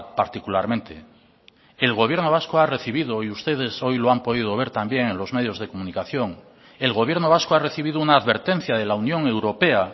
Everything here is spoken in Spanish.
particularmente el gobierno vasco ha recibido y ustedes hoy lo han podido ver también en los medios de comunicación el gobierno vasco ha recibido una advertencia de la unión europea